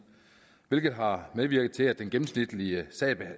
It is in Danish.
hvilket har medvirket til at den gennemsnitlige